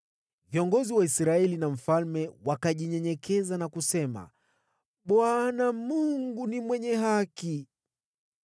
Viongozi wa Israeli na mfalme wakajinyenyekeza na kusema, “ Bwana Mungu ni mwenye haki.”